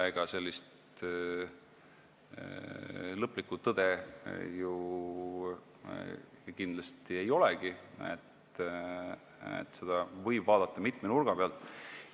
Ega sellist lõplikku tõde ju ei olegi, seda võib vaadata mitme nurga alt.